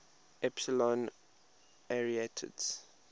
epsilon arietids